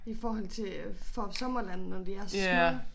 I forhold til øh Fårup Sommerland når de er så små